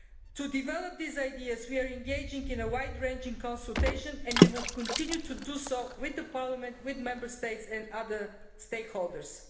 To develop these ideas, we are engaging in a wide ranging consultation and we will continue to do so with the Parliament, Member States and other stakeholders.